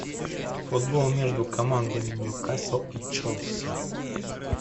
футбол между командами ньюкасл и челси